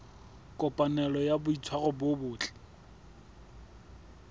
kopanelo ya boitshwaro bo botle